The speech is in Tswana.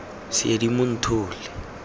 seedimonthole